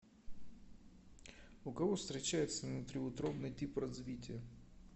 у кого встречается внутриутробный тип развития